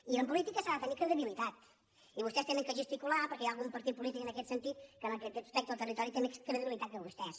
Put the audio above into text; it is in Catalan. i en política s’ha de tenir credibilitat i vostès han de gesti·cular perquè hi ha algun partit polític en aquest sen·tit que en aquest aspecte del territori té més credibilitat que vostès